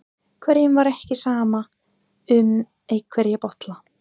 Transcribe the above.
Hverjum var ekki sama um einhverja bolla?